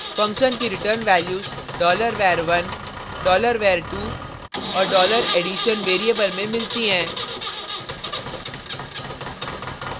function की return values $var1 $var2 और $addition variable में मिलती हैं